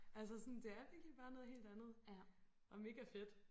Altså sådan det er virkelig bare noget helt andet og mega fedt